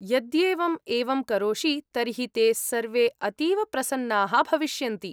यद्येवं एवं करोषि तर्हि ते सर्वे अतीव प्रसन्नाः भविष्यन्ति।